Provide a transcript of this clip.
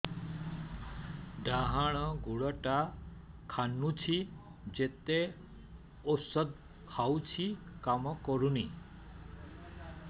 ଡାହାଣ ଗୁଡ଼ ଟା ଖାନ୍ଚୁଚି ଯେତେ ଉଷ୍ଧ ଖାଉଛି କାମ କରୁନି